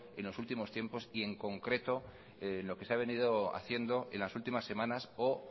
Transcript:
en los últimos tiempos y en concreto lo que se ha venido haciendo en las últimas semanas o